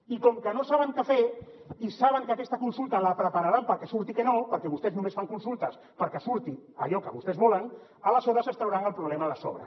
i com que no saben què fer i saben que aquesta consulta la prepararan perquè surti que no perquè vostès només fan consultes perquè surti allò que vostès volen aleshores es trauran el problema de sobre